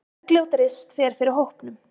Bergljót Rist fer fyrir hópnum.